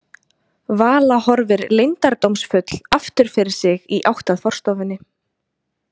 Vala horfir leyndardómsfull aftur fyrir sig í átt að forstofunni.